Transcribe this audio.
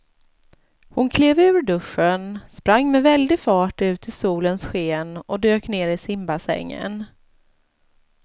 Hon klev ur duschen, sprang med väldig fart ut i solens sken och dök ner i simbassängen.